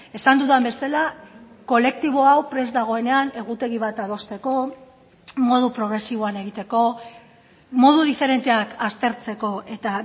esan dudan bezala kolektibo hau prest dagoenean egutegi bat adosteko modu progresiboan egiteko modu diferenteak aztertzeko eta